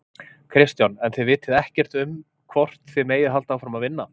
Kristján: En þið vitið ekkert um hvort þið megið halda áfram að vinna?